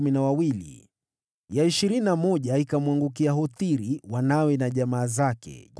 ya ishirini na moja ikamwangukia Hothiri, wanawe na jamaa zake, 12